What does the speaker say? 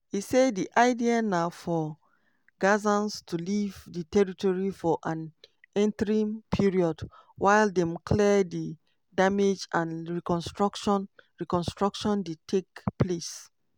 e say di idea na for gazans to leave di territory for an "interim" period while dem clear di damage and reconstruction reconstruction dey take place.